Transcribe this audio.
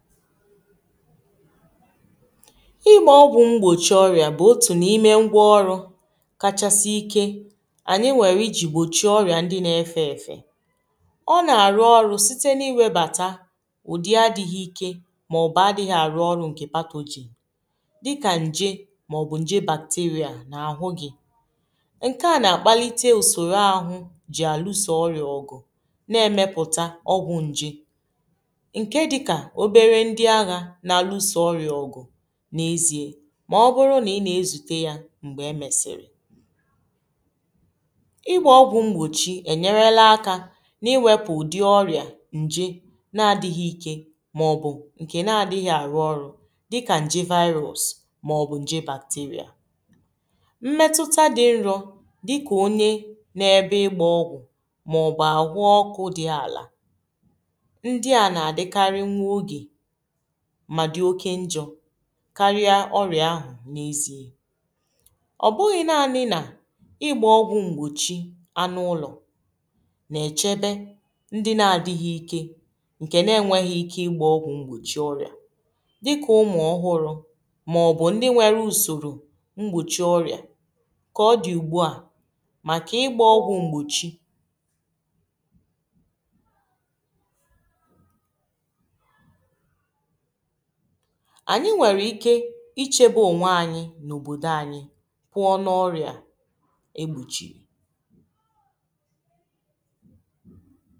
igbȧ ọgwụ̀ m̀gbòchi ọrị̀à bụ otù n’ime ngwa ọrụ̇ kachasị ike ànyị nwèrè ijì gbòchi orị̀à ndi n’efė èfè ọ nà-àrụ ọrụ̇ site n’iwėbàtà ụ̀dị àdịghị ike ma ọ̀ bụ̀ àdịghị àrụ ọrụ̇ ǹkè kpado ji dịkà ǹje màọbụ̀ ǹje bacteria n’àhụ gị̇ ǹke à nà-àkpalite usòrò àhụ jì àlụsò ọrị̀à ọgụ̀ na-emepụ̀ta ọgwụ̀ ǹje n’alụso ọrịa ọ̀gụ̀ n’ezie mà ọ bụrụ nà ị nà-ezute yȧ m̀gbè e mèsìrì ịgbȧ ọgwụ̀ mgbòchi ènyerela akȧ n’iwepụ ùdi ọrịà ǹje nà-adịghị ike mà ọ bụ̀ ǹkè nà-adịghị àrụ ọrụ dịkà ǹje virus mà ọ bụ̀ ǹje bacteria mmetuta dị nrọ̇ dịkà onye n’ebe ịgbȧ ọgwụ̀ mà ọ bụ̀ àhụ ọkụ̇ dị àlà ndị à nà-àdịkari nwa ogè mà dị̀ oke njọ̇ karịa ọrịà ahụ n’ ezi i ọ bụghị̀ nȧȧ niilȧ igbȧ ọgwụ̀ m̀gbòchi anụ ụlọ̀ nà echebe ndị nȧȧ dịghị̀ ike ǹkè nà enwėghi ike igbȧ ọgwụ̀ m̀gbòchi ọrịà dịkà ụmụ̀ ọhụrụ̇ mà ọ̀ bụ̀ ndị nwere usòrò m̀gbòchi ọrịà kà ọ dị̀ ùgbù à màkà igbȧ ọgwụ̀ m̀gbòchi anyị nwere ike ichebe onwe anyị n’obodo anyị kwụọ n’ọrịa egbuchiri